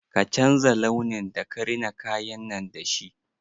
Ka canza launin da ka rina kayan nan da shi!